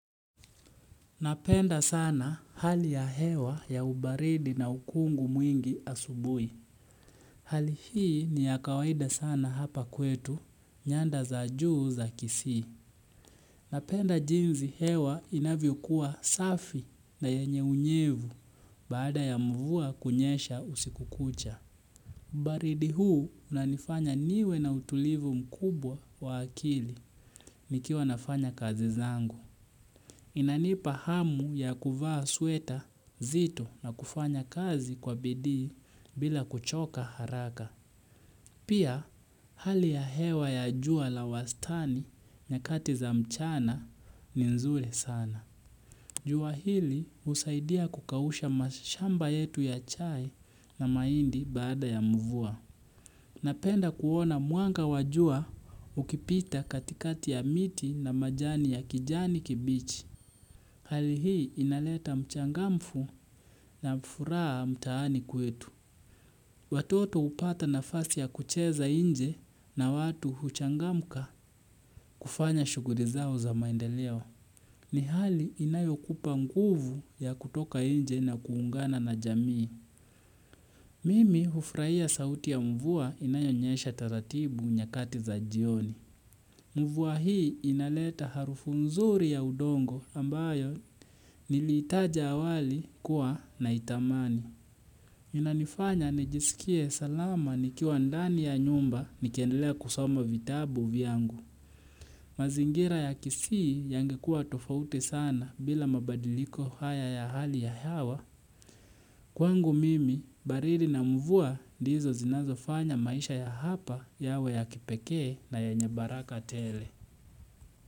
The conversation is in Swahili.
Napenda sana hali ya hewa ya ubaridi na ukungu mwingi asubui. Hali hii ni ya kawaida sana hapa kwetu, nyanda za juu za kisii. Napenda jinsi hewa inavyokuwa safi na yenye unyevu baada ya mvua kunyesha usiku kucha. Ubaridi huu unanifanya niwe na utulivu mkubwa wa akili, nikiwa nafanya kazi zangu. Inanipa hamu ya kuvaa sweta zito na kufanya kazi kwa bidii bila kuchoka haraka. Pia hali ya hewa ya jua la wastani nyakati za mchana ni nzuri sana. Jua hili usaidia kukausha mashamba yetu ya chai na mahindi baada ya mvua. Napenda kuona mwanga wa jua ukipita katikati ya miti na majani ya kijani kibichi. Hali hii inaleta mchangamfu na furaha mtaani kwetu. Watoto upata nafasi ya kucheza nje na watu huchangamka kufanya shughuli zao za maendeleo. Ni hali inayo kupa nguvu ya kutoka nje na kuungana na jamii. Mimi ufraia sauti ya mvua inayo nyesha taratibu nyakati za jioni. Mvua hii inaleta harufu nzuri ya udongo ambayo niliitaja awali kuwa naitamani. Inanifanya nijisikie salama nikiwa ndani ya nyumba nikiendelea kusoma vitabu vyangu. Mazingira ya kisii yangekuwa tofauti sana bila mabadiliko haya ya hali ya hewa. Kwangu mimi, baridi na mvuwa ndizo zinazofanya maisha ya hapa yawe ya kipekee na yenye baraka tele.